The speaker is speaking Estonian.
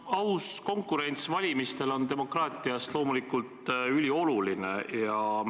Aus konkurents valimistel on demokraatias loomulikult ülioluline.